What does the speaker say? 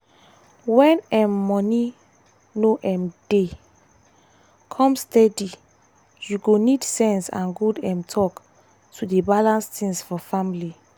when um money no um dey come steady you go need sense and good um talk to dey balance things for family.